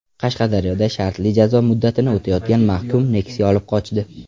Qashqadaryoda shartli jazo muddatini o‘tayotgan mahkum Nexia olib qochdi.